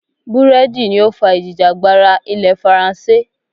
Búrẹ́dì ni ó fà ìjìjàgbara ilẹ̀ faransé.